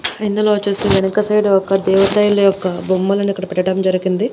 ఇందులో వొచ్చేసి వెనుక సైడు ఒక దేవతైలి యొక్క బొమ్మలను ఇక్కడ పెట్టడం జరిగింది.